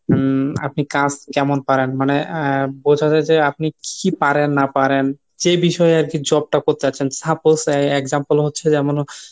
উম আপনি কাজ কেমন পারেন মানে আহ বোঝা যায় যে আপনি কি পারেন না পারেন সে বিষয়ে আরকি job টা করতে চাচ্ছেন। Suppose আহ example হচ্ছে উম যেমন